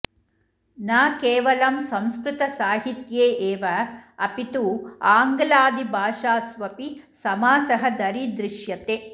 न केवलं संकृतसाहित्ये एव अपि तु आङ्ग्लादिभाषास्वपि समासः दरीदृश्यते